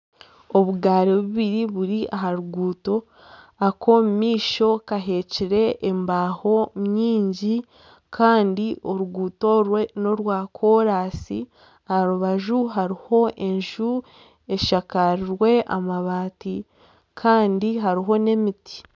Obugaari bubiri buri aha ruguuto, ak'omumaisho kaheekire embaaho nyingi kandi oruguuto orwe n'orwakoraasi, aha rubaju hariho enju eshakirwe amabaati kandi hariho n'emiti